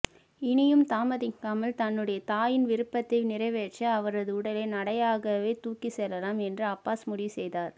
இனியும் தாமதிக்காமல் தன்னுடைய தாயின் விருப்பதை நிறைவேற்ற அவரது உடலை நடையாகவே தூக்கி செல்லலாம் என்று அப்பாஸ் முடிவு செய்தார்